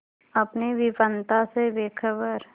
अपनी विपन्नता से बेखबर